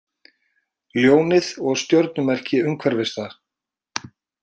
Ljónið og stjörnumerki umhverfis það.